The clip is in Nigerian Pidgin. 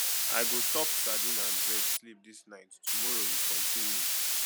i go chop sadin and bread sleep dis night tomorrow we continue